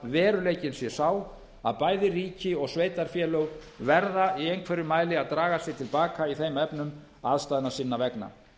veruleikinn sé sá að bæði ríki og sveitarfélög verða í einhverjum mæli að draga sig til baka í þeim efnum aðstæðna sinna vegna